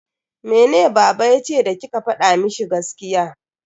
Mene baba yace da kika fada mishi gaskiya?